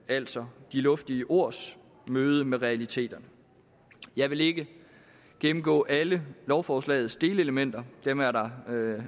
altså de luftige ords møde med realiteterne jeg vil ikke gennemgå alle lovforslagets delelementer dem er der